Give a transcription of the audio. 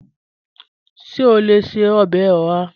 Ṣe o le ṣe ọbẹ oha?